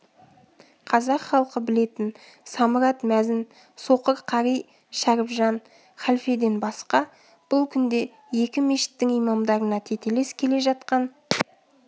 қазақ халқы білетін самұрат мәзін соқыр қари шәрібжан халфеден басқа бұл күнде екі мешіттің имамдарына тетелес келе жатқан